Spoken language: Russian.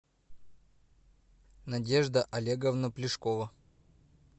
надежда олеговна плешкова